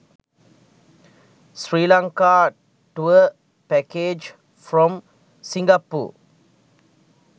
sri lanka tour package from singapore